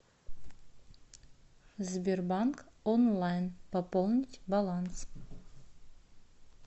сбербанк онлайн пополнить баланс